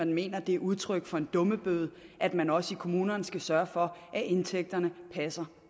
mener det er udtryk for en dummebøde at man også i kommunerne skal sørge for at indtægterne passer